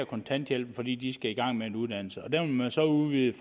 kontanthjælpen fordi de skal i gang med en uddannelse der vil man så udvide